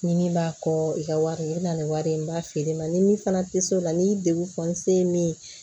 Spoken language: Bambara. Ɲi min b'a kɔ i ka wari i bɛ na ni wari ye n b'a feere ma ni min fana tɛ se o la ni degun fɔ n se min ye